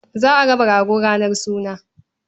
Za a raba goro ranar suna.